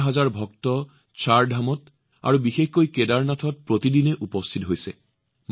হাজাৰ হাজাৰ ভক্ত চাৰধামত আৰু বিশেষকৈ কেদাৰনাথত প্ৰতিদিনে উপস্থিত হৈছে